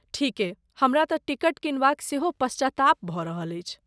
ठीके, हमरा तँ टिकट किनबाक सेहो पश्चाताप भऽ रहल अछि।